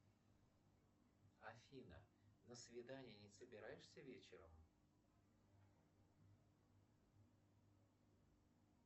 афина на свидание не собираешься вечером